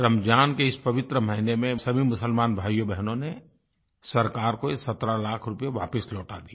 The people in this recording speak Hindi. रमज़ान के इस पवित्र महीने में सभी मुसलमान भाइयोंबहनों ने सरकार को ये 17 लाख वापस लौटा दिए